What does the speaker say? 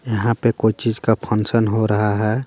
यहाँ पे कोई चीज का फंक्शन हो रहा है.